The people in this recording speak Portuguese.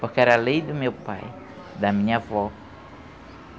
Porque era a lei do meu pai, da minha avó.